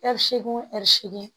Ɛri seegin ɛri seegin